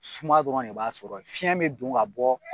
Suma dɔrɔn de b'a sɔrɔ ye, fiɲɛ bɛ don ŋa bɔ